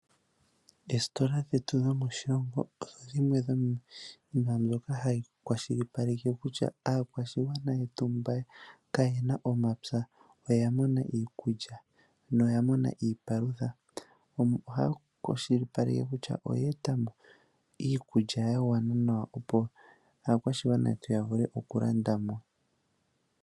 Oositola dhetu dhomoshilongo odho dhimwe dhomwaaambyoka hayi kwashilipaleke kutya aakwashigwana yetu mba kaayena omapya, oya mona iikulya niipalutha. Ohaya kwashilipaleke kutya oyeetamo iikulya yagwana nawa , opo aakwashigwana yetu yavule okulandamo.